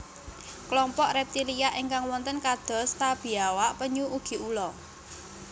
Klompok reptilia ingkang wonten kados ta biawak penyu ugi ula